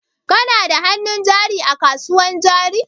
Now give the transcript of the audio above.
Kana da hannun jari a kasuwan jari?